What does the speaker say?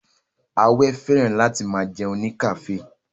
Awẹ́ fẹ́ràn láti máa jẹun ní kafe